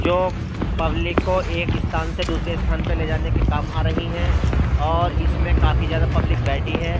जो पब्लिक को एक स्थान से दूसरे स्थान पे ले जाने के काम आ रही है और इसमे काफी ज्यादा पब्लिक बैठी है।